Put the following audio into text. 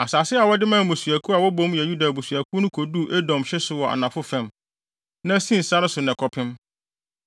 Asase a wɔde maa mmusua a wobom yɛ Yuda abusuakuw no koduu Edom hye so wɔ anafo fam, na Sin sare so na ɛkɔpem.